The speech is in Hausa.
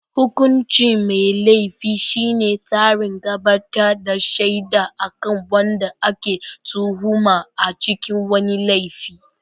hukuncin mai Laifi shine tsarin gabatar da shaida akan wanda ake tuhuma a cikin wani laifi